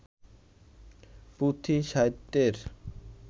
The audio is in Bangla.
পুঁথি সাহিত্যের